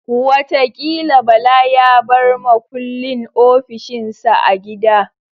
Watakila Bala ya bar makullin ofishin sa a gida